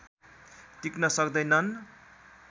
टिक्न सक्दैनन्